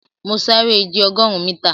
Mọ̀ sárẹ̀ ìjẹ̀ ogórùn míta.